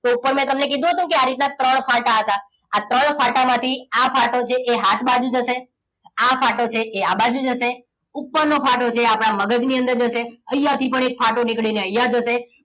તો ઉપર મેં તમને કહ્યું હતું કે આ રીતના ત્રણ ફાટા હતા આ ત્રણ ફાટા માંથી આ ફાટો જે હાથ બાજુ જશે આ ફાટો છે એ આ બાજુ જશે ઉપરનો ફાટો છે એ આપણા મગજની અંદર જશે અહીંયા થી પણ એક ફાટો નીકળીને અહીંયા જશે